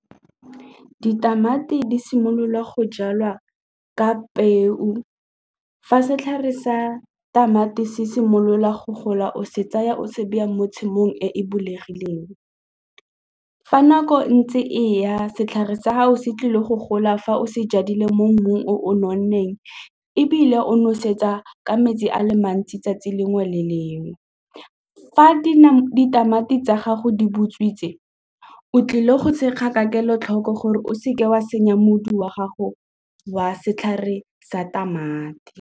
Ditamati di simolola go jalwa ka peo, fa setlhare sa tamati se simolola go gola o se tsaya o se beya mo tshimong e e bulegileng. Fa nako e ntse e ya setlhare sa gago se tlile go gola fa o se jadile mo mmung o o nonneng ebile o nosetsa ka metsi ale mantsi 'tsatsi lengwe le lengwe. Fa ditamati tsa gago di butswitseng o tlile go thekga ka kelotlhoko gore o seke wa senya mobu wa gago wa setlhare sa tamati.